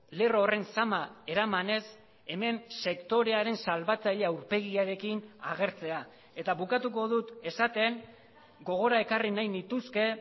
lerro horren zama eramanez hemen sektorearen salbatzaile aurpegiarekin agertzea eta bukatuko dut esaten gogora ekarri nahi nituzke